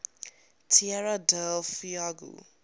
tierra del fuego